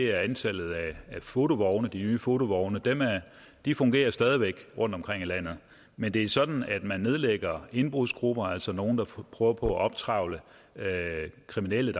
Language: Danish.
er antallet af fotovogne de nye fotovogne de fungerer stadig væk rundtomkring i landet men det er sådan at man nedlægger indbrudsgrupper altså nogle der prøver på at optrevle kriminelle